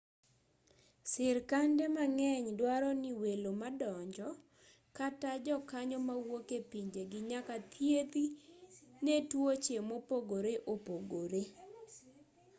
sirkande mang'eny duaro ni welo madonjo kata jokanyo mawuok e pinjegi nyaka thiedhi ne tuoche mopogore opogore